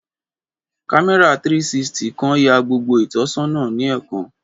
Kámẹ́rà 360 kan ya gbogbo ìtọ́sọ́nà ni ẹẹkan